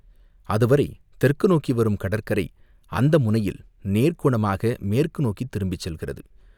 அதுவரை தெற்கு நோக்கி வரும் கடற்கரை அந்த முனையில் நேர்கோணமாக மேற்கு நோக்கித் திரும்பிச் செல்கிறது.